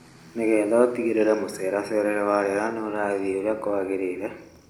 Nĩgetha ũtigĩrĩre mũceracerere wa rĩera nĩũrathiĩ ũrĩa kwagĩrĩire;